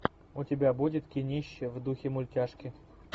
у тебя будет кинище в духе мультяшки